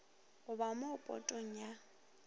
go ba mo potong ya